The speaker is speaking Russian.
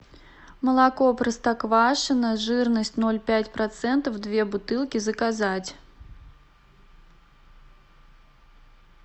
молоко простоквашино жирность ноль пять процентов две бутылки заказать